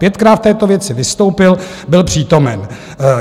Pětkrát v této věci vystoupil, byl přítomen.